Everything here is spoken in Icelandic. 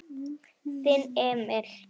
Þinn Emil.